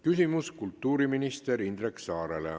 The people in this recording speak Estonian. Küsimus kultuuriminister Indrek Saarele.